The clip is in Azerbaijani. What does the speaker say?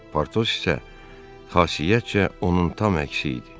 Portos isə xasiyyətcə onun tam əksi idi.